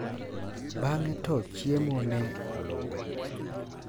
Bang`e to chiemo ne oluwe.